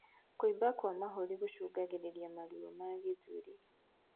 Kuimba kwa mahũri gucungagirirĩa maruo ma gĩthũri